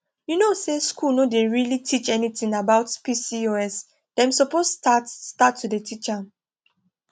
you know say school no dey really teach anything about pcosdem suppose start start to teach am